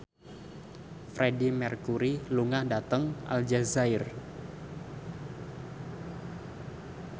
Freedie Mercury lunga dhateng Aljazair